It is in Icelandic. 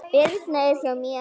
Birna er hjá mér.